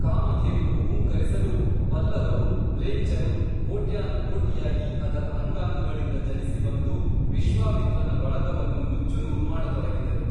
ಕಾಮಧೇನುವು ಹೂಂಕರಿಸಲು ಪಲ್ಲವರೂ ಮ್ಲೇಂಛರೂ ಕೋಟ್ಯಾನು ಕೋಟಿಯಾಗಿ ಅದರ ಅಂಗಾಂಗಗಳಿಂದ ಜನಿಸಿ ಬಂದು ವಿಶ್ವಾಮಿತ್ರನ ಬಳಗವನ್ನು ನುಚ್ಚು ನೂರು ಮಾಡತೊಡಗಿದರು